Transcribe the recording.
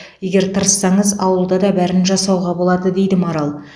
егер тырыссаңыз ауылда да бәрін жасауға болады дейді марал